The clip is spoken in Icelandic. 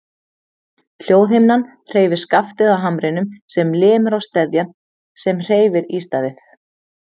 Hljóðhimnan hreyfir skaftið á hamrinum sem lemur á steðjann sem hreyfir ístaðið.